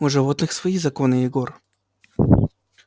у животных свои законы егор